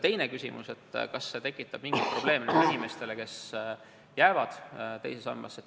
Teine küsimus oli, kas see tekitab mingeid probleeme inimestele, kes jäävad teise sambasse raha koguma.